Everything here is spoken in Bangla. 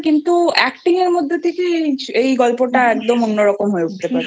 কিন্তু Acting এর মধ্যে থেকে এই গল্প টা একদম অন্যরকম হয়ে উঠতে পারে।